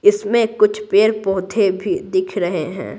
इसमें कुछ पेड़-पौधे भी दिख रहे हैं।